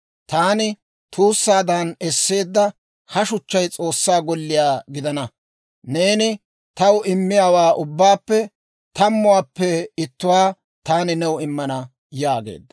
taani tuussaadan esseedda ha shuchchay S'oossaa golliyaa gidana. Neeni taw immiyaawaa ubbaappe tammuwaappe ittuwaa taani new immana» yaageedda.